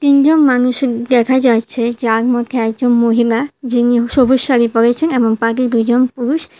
তিনজন মানুষের দেখা যাইছে যার মধ্যে একজন মহিলা যিনি সবুজ শাড়ি পড়েছেন এবং বাকি দুইজন পুরুষ।